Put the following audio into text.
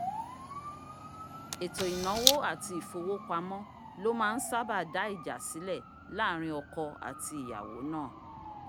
èto ìnáwó àti ìfowópamọ́ ló ma ń sábà dá ìjà sílẹ̀ láàrin oko àti ìyàwọ́ náà